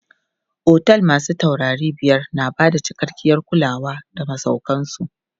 Otel masu taurari biyar na bada cikakkiyar kulawa ga masauƙan su.